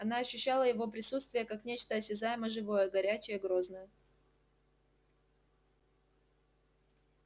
она ощущала его присутствие как нечто осязаемо-живое горячее грозное